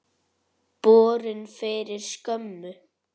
Borin fyrir skömmu.